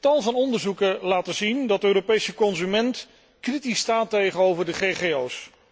Tal van onderzoeken laten zien dat de Europese consument kritisch staat tegenover de GGO's.